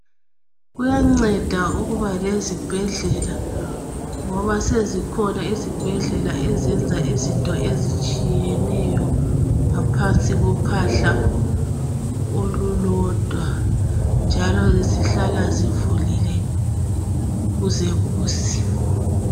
Kuyanceda ukuba lezibhedlela ngoba sezikhona izibhedlela ezenza izinto ezitshiyeneyo ngaphansi kophahla olulodwa njalo zihlala zivulile kuzekuse.